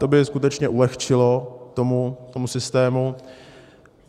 To by skutečně ulehčilo tomu systému.